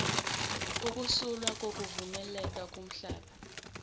ukusulwa kokuvumeleke kumhlaba